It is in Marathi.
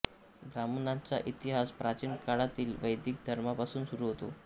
ब्राह्मणांचा इतिहास प्राचीन काळतील वैदिक धर्मापासून सुरू होतो